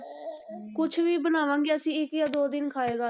ਕੁਛ ਵੀ ਬਣਾਵਾਂਗੇ ਅਸੀਂ ਇੱਕ ਜਾਂ ਦੋ ਦਿਨ ਖਾਏਗਾ।